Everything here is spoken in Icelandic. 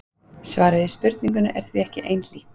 svarið við spurningunni er því ekki einhlítt